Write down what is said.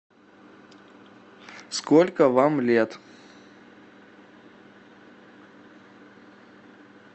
сколько вам лет